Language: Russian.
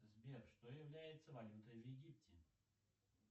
сбер что является валютой в египте